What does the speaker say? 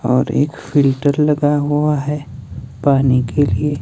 और एक फिल्टर लगा हुआ है पानी के लिए।